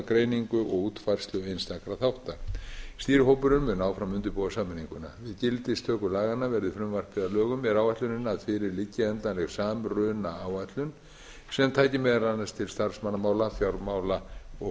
greiningu og útfærslu einstakra þátta stýrihópurinn mun áfram undirbúa sameininguna við gildistöku laganna verði frumvarpið að lögum er áætlunin að fyrir liggi endanleg samrunaáætlun sem taki meðal annars til starfsmannamála fjármála og